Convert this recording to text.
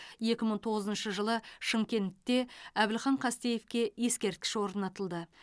екі мың тоғызыншы жылы шымкентте әбілхан қастеевке ескерткіш орнатылды